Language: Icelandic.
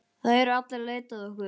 Það eru allir að leita að ykkur.